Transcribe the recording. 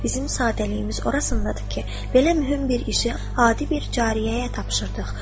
Bizim sadəliyimiz orasındadır ki, belə mühüm bir işi adi bir cariyəyə tapşırdıq.